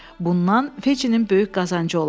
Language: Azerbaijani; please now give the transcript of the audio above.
Bundan Feycinin böyük qazancı olar.